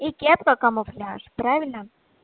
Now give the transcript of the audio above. и кепка камуфляж правильно